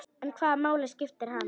En hvaða máli skiptir hann?